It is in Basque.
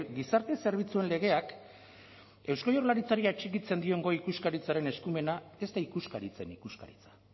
gizarte zerbitzuen legeak eusko jaurlaritzari atxikitzen dion goi ikuskaritzaren eskumena ez da ikuskaritzen ikuskaritza